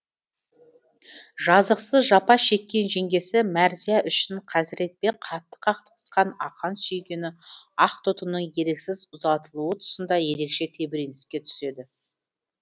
жазықсыз жапа шеккен жеңгесі мәрзия үшін қазіретпен қатты қақтығысқан ақан сүйгені ақтоқтының еріксіз ұзатылуы тұсында ерекше тебіреніске түседі